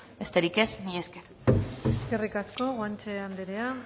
besterik ez mila ezker eskerrik asko guanche andrea